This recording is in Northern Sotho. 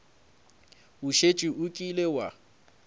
o šetše o kile wa